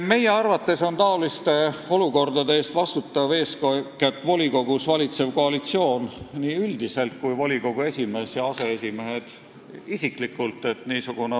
Meie arvates on niisuguste olukordade tekkimise eest vastutavad eeskätt volikogus valitsev koalitsioon üldiselt ning ka volikogu esimees ja aseesimehed isiklikult.